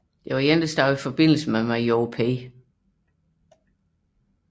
Ciganović stod i forbindelse med major Vojin P